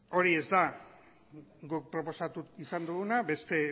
hori ez da guk proposatu izan duguna beste